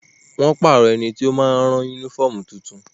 Wọ́n ti pàrọ̀ ẹniti ó ma rán yúnífọ̀mù tuntun